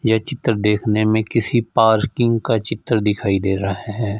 यह चित्र देखने में किसी पार्किंग का चित्र दिखाई दे रहा है।